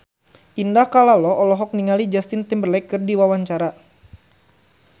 Indah Kalalo olohok ningali Justin Timberlake keur diwawancara